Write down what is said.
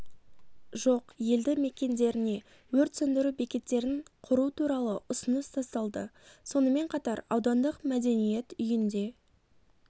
жоқ елді мекендеріне өрт сөндіру бекеттерін құру туралы ұсыныс тасталды сонымен қатар аудандық мәдениет үйінде